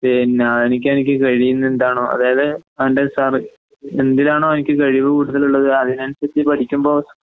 പിന്നേഹ് എനിക്കെനിക്ക് കഴിയുന്നെന്താണോ അതായത് അവൻ്റെ സാറ് എന്തിനാണോഎനിക്ക് കഴിവ്കൂടുതലുള്ളത് അതിനനുസരിച്ച് പഠിക്കുമ്പോ